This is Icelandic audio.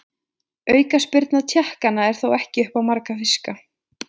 Aukaspyrna Tékkanna er þó ekki upp á marga fiska.